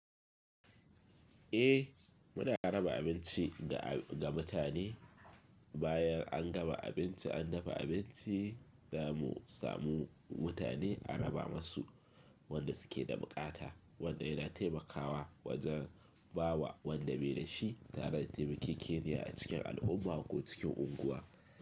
Eh muna raba abinci ga, ga mutane bayan an gama abinci, an dafa abinci za mu samu mutane a raba masu wanda suke da bukata, wanda yana taimakawa wajen bawa wanda bai da shi tare da taimakon Kenya a cikin al'umma ko cikin unguwa.